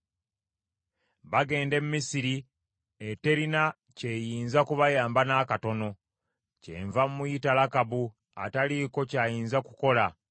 Bagenda e Misiri, eterina kyeyinza kubayamba n’akatono. Kyenva muyita Lakabu ataliiko kyayinza kukola.